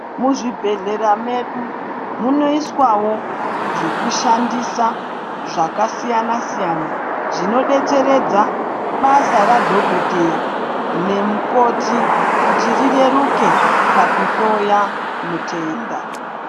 Mu zvibhehlera medu muno iswawo zveku shandisa zvaka siyana siyana zvino detseredza basa ra dhokoteya ne mukoti kuti rireruke paku hloya mutenda.